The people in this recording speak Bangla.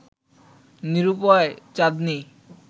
নিরূপায় চাঁদনী